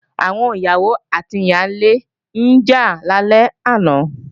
Àwọn ìyàwó àti ìyálé ń jà lálẹ́ àná